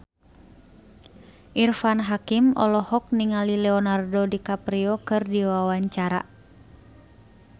Irfan Hakim olohok ningali Leonardo DiCaprio keur diwawancara